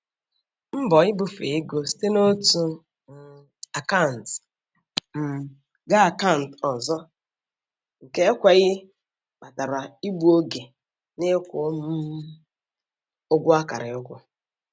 Mbọ ibufe ego site n'otu um akant um ga akant ọzọ nke ekweghị kpatara igbu oge n'ịkwụ um ụgwọ akara ịkwụ.